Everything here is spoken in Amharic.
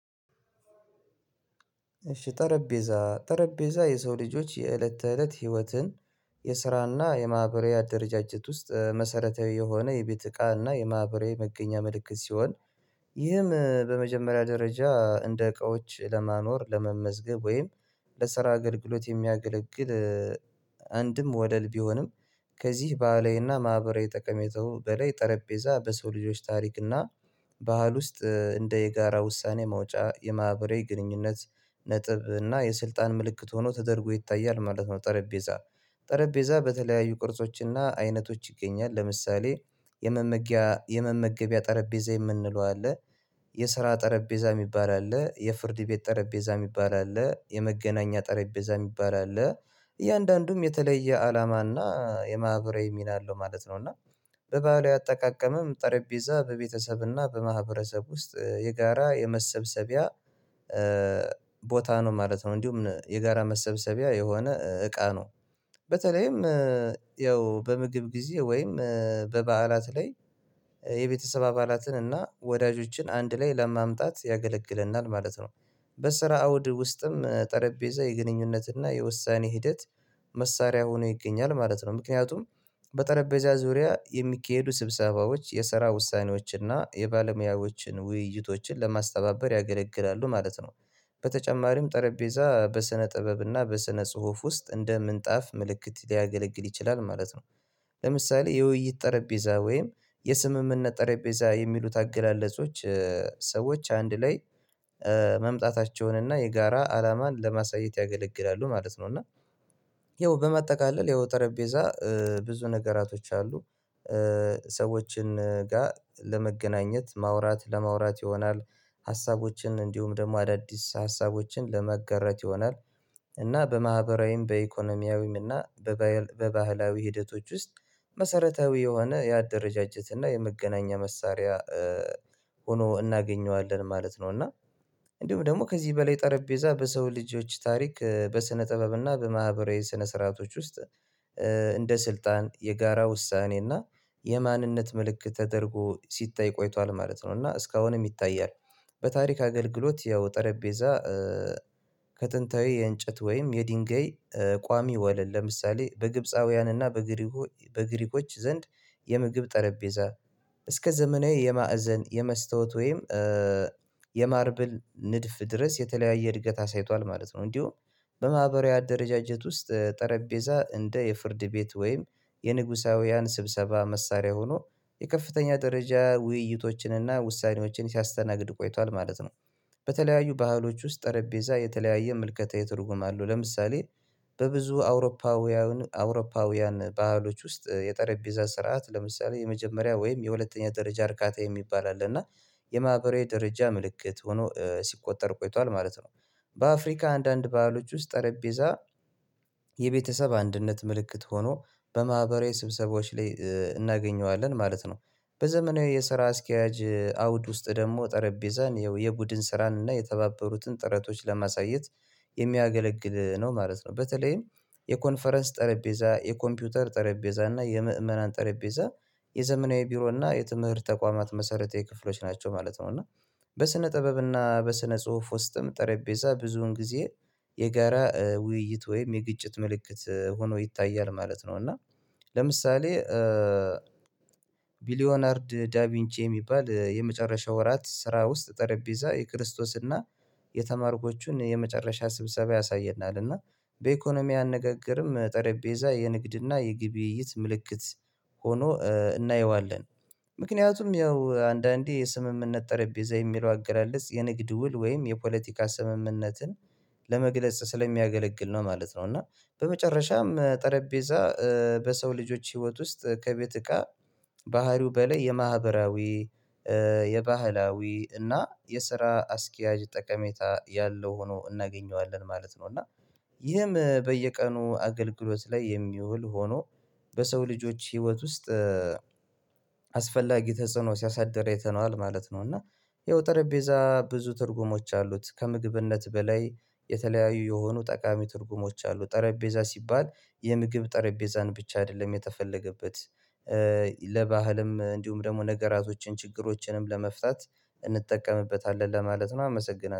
እሺ ጠረጴዛ ጠረጴዛ የሰው ልጆች የእለት ተእለት ህይወትን የስራና የማህበራዊ አደረጃጀት ውስጥ መሰረታዊ የሆነ የቤት ዕቃና የማህበራዊ መገኛ ምልክት ሲሆን። ይህም በመጀመሪያ ደረጃ እንደ እቃዎች ለማኖር ለመመዝገብ ወይም ለስራ አገልግሎት የሚያገለግል። አንድም ወደል ቢሆንም ከዚህ ባህላዊና ማህበራዊ ተቀመጠው በላይ ጠረጴዛ በሰው ልጆች ታሪክና ባህል ውስጥ እንደ የጋራ ውሳኔ መውጫ የማህበራዊ ግንኙነት ነጥብ እና የስልጣን ምልክት ሆኖ ተደርጎ ይታያል ማለት ነው። ጠረጴዛ ጠረጴዛ በተለያዩ ቅርጾችና አይነቶች ይገኛል። ለምሳሌ የመመገቢያ ጠረጴዛ የምንለው አለ። የስራ ጠረጴዛ የሚባል አለ የፍርድ ቤት ጠረጴዛ የሚባል አለ የመገናኛ ጠረጴዛ የሚባል አለ። እያንዳንዱም የተለየ አላማና የማህበራዊ ሚና አለው ማለት ነው እና በባህላዊ አጠቃቀምም ጠረጴዛ በቤተሰብና በማኅበረሰብ ውስጥ የጋራ የመሰብሰቢያ ቦታ ነው ማለት ነው። እንዲሁም የጋራ መሰብሰቢያ የሆነ እቃ ነው። በተለይም ያው በምግብ ጊዜ ወይም በበዓላት ላይ የቤተሰብ አባላትን እና ወዳጆችን አንድ ላይ ለማምጣት ያገለግለናል ማለት ነው። በስራ አውድ ውስጥም ጠረጴዛ የግንኙነት እና የውሳኔ ሂደት መሳሪያ ሆኖ ይገኛል ማለት ነው። ምክንያቱም በጠረጴዛ ዙሪያ የሚካሄዱ ስብሰባዎች የስራ ውሳኔዎችና የባለሙያዎችን ውይይቶችን ለማስተባበር ያገለግላሉ ማለት ነው። በተጨማሪም ጠረጴዛ በስነ ጥበብና በስነ ጽሁፍ ውስጥ እንደ ምንጣፍ ምልክት ሊያገለግል ይችላል ማለት ነው። ለምሳሌ የውይይት ጠረጴዛ ወይም የስምምነት ጠረጴዛ የሚሉት አገላለጾች ሰዎች አንድ ላይ መምጣታቸውን እና የጋራ አላማን ለማሳየት ያገለግላሉ ማለት ነው። እና ያው በማጠቃለል ያው ጠረጴዛ ብዙ ነገራቶች አሉ ሰዎችን ጋር ለመገናኘት ማውራት ለማውራት ይሆናል ሀሳቦችን እንዲሁም ደግሞ አዳዲስ ሀሳቦችን ለማጋራት ይሆናል። እና በማህበራዊም በኢኮኖሚያዊም እና በባህላዊ ሂደቶች ውስጥ መሰረታዊ የሆነ የአደረጃጀት እና የመገናኛ መሳሪያ ሆኖ እናገኘዋለን ማለት ነው። እና እንዲሁም ደግሞ ከዚህ በላይ ጠረጴዛ በሰው ልጆች ታሪክ በስነ ጥበብ እና በማህበራዊ ስነ ስርዓቶች ውስጥ እንደ ስልጣን የጋራ ውሳኔና የማንነት ምልክት ተደርጎ ሲታይ ቆይቷል ማለት ነው እና እስካሁንም ይታያል። በታሪክ አገልግሎት ያው ጠረጴዛ ከጥንታዊ የእንጨት ወይም የድንጋይ ቋሚ ወለል ለምሳሌ በግብፃውያንና በግሪኮ በግሪኮች ዘንድ የምግብ ጠረጴዛ እስከ ዘመናዊ የማዕዘን የመስታወት ወይም የማርብል ንድፍ ድረስ የተለያየ እድገት አሳይቷል ማለት ነው። እንዲሁም በማህበራዊ አደረጃጀት ውስጥ ጠረጴዛ እንደ የፍርድ ቤት ወይም የንጉሳውያን ስብሰባ መሳሪያ ሆኖ የከፍተኛ ደረጃ ውይይቶችንና ውሳኔዎችን ሲያስተናግድ ቆይቷል ማለት ነው። በተለያዩ ባህሎች ውስጥ ጠረጴዛ የተለያየ ምልከታዊ ትርጉም አለው ለምሳሌ በብዙ አውሮፓውያን አውሮፓውያን ባህሎች ውስጥ የጠረጴዛ ስርዓት ለምሳሌ የመጀመሪያ ወይም የሁለተኛ ደረጃ እርካታ የሚባል አለ እና የማህበራዊ ደረጃ ምልክት ሆኖ ሲቆጠር ቆይቷል ማለት ነው። በአፍሪካ አንዳንድ ባህሎች ውስጥ ጠረጴዛ የቤተሰብ አንድነት ምልክት ሆኖ በማህበራዊ ስብሰባዎች ላይ እናገኘዋለን ማለት ነው። በዘመናዊ የስራ አስኪያጅ አውድ ውስጥ ደግሞ ጠረጴዛን ያው የቡድን ስራን እና የተባበሩትን ጥረቶች ለማሳየት የሚያገለግል ነው ማለት ነው። በተለይም የኮንፈረንስ ጠረጴዛ የኮምፒውተር ጠረጴዛ እና የምእመናን ጠረጴዛ የዘመናዊ ቢሮ እና የትምህርት ተቋማት መሰረተ የክፍሎች ናቸው ማለት ነው። እና በስነ ጥበብ እና በስነ ጽሁፍ ውስጥም ጠረጴዛ ብዙን ጊዜ የጋራ ውይይት ወይም የግጭት ምልክት ሆኖ ይታያል ማለት ነው። እና ለምሳሌ ቢሊዮናርድ ዳቪንቺ የሚባል የመጨረሻ ወራት ስራ ውስጥ ጠረጴዛ የክርስቶስና የተማርኮቹን የመጨረሻ ስብሰባ ያሳየናል እና በኢኮኖሚ አነጋገርም ጠረጴዛ የንግድና የግብይት ምልክት ሆኖ እናየዋለን ምክንያቱም ያው አንዳንዴ የስምምነት ጠረጴዛ የሚለው አገላለጽ የንግድ ውል ወይም የፖለቲካ ስምምነትን ለመግለጽ ስለሚያገለግል ነው ማለት ነው። እና በመጨረሻም ጠረጴዛ በሰው ልጆች ህይወት ውስጥ ከቤት እቃ ባህሪው በላይ የማህበራዊ የባህላዊ እና የስራ አስኪያጅ ጠቀሜታ ያለው ሆኖ እናገኘዋለን ማለት ነው። እና ይህም በየቀኑ አገልግሎት ላይ የሚውል ሆኖ በሰው ልጆች ህይወት ውስጥ አስፈላጊ ተጽዕኖ ሲያሳድር አይተነዋል ማለት ነው። እና ይኸው ጠረጴዛ ብዙ ትርጉሞች አሉት ከምግብነት በላይ የተለያዩ የሆኑ ጠቃሚ ትርጉሞች አሉ ጠረጴዛ ሲባል የምግብ ጠረጴዛን ብቻ አይደለም የተፈለገበት ለባህልም እንዲሁም ደግሞ ነገራቶችን ችግሮችንም ለመፍታት እንጠቀምበታለን ለማለት ነው። አመሰግናለሁ